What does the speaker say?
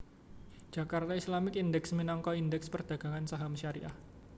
Jakarta Islamic Index minangka Indèks perdagangan saham syariah